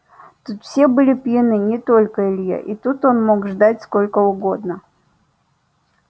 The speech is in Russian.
тут все были пьяны не только илья и тут он мог ждать сколько угодно